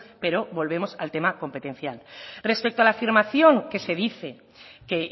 pero volvemos al tema competencial respecto a la afirmación que se dice que